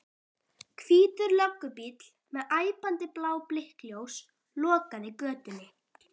Hvítur löggubíll með æpandi blá blikkljós lokaði götunni.